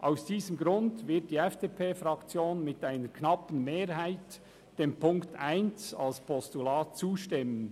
Aus diesem Grund wird die FDP-Fraktion mit einer knappen Mehrheit dem Punkt 1 als Postulat zustimmen.